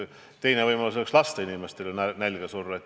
Teine võimalus oleks lasta inimestel nälga surra.